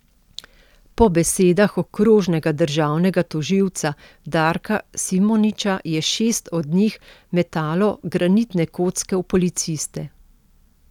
Po besedah okrožnega državnega tožilca Darka Simoniča je šest od njih metalo granitne kocke v policiste.